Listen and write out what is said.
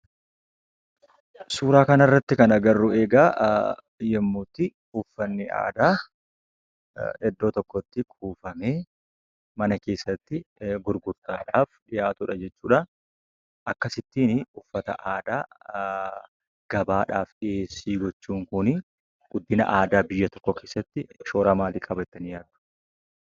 Suuran kana irratti kan agarru yemmu itti uffanni aadaa Iddoo tokkotti kuufamee mana keessatti gurguttadhaf dhihaatudha jechuudha. Akkasittiin uffata aadaa gabaadhaaf Dhiheessii gochuun kuni Guddina aadaa biyyan tokkoo keessatti shoora maaliif qabda jettanis yaaddu?